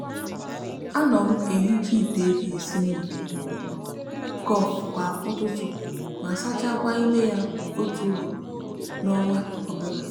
a no m ehicha ite eji esi mmiri cofi kwa ututu ma sachakwa ime ya otu ugbo n'onwa obula